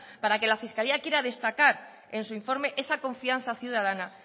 para que la fiscalía quiera destacar en su informe esa confianza ciudadana